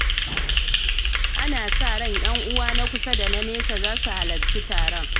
Ana sa ran ƴan'uwa na kusa da na nesa za su halarci taron.